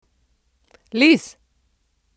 Liz!